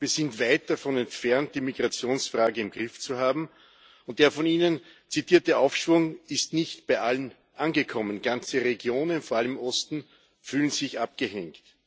Wir sind weit davon entfernt, die Migrationsfrage im Griff zu haben, und der von Ihnen zitierte Aufschwung ist nicht bei allen angekommen. Ganze Regionen, vor allem im Osten, fühlen sich abgehängt.